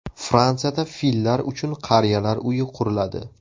Fransiyada fillar uchun qariyalar uyi quriladi.